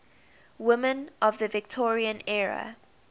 women of the victorian era